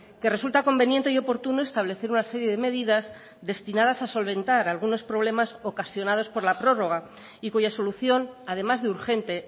que resulta conveniente y oportuno establecer una serie de medidas destinadas a solventar algunos problemas ocasionados por la prórroga y cuya solución además de urgente